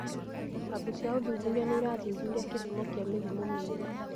Rambu cia ũthuthuria nĩirathuthuria kĩhumo kĩa mĩrimũ mĩeru